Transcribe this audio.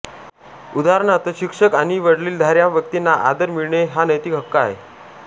उदाहरणार्थ शिक्षक आणि वडीलधाऱ्या व्यक्तींना आदर मिळणे हा नैतिक हक्क आहे